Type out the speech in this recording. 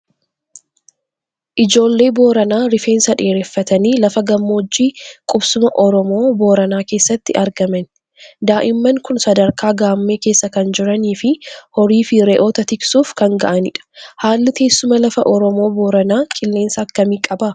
Ijoollee Booranaa rifeensa dheereffatanii lafa gammoojjii qubsuma Oromoo Booranaa keessatti argaman. Daa'imman kun sadarkaa gaammee keessa kan jiranii fi horii fi re'oota tiksuuf kan ga'anidha. Haalli teessuma lafaa Oromoo Booranaa qilleensa akkamii qaba?